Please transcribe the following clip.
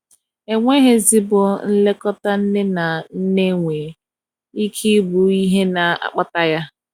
enweghi ezigbo nlekọta nne na nne nwer ike ibụ ihe na akpata ya.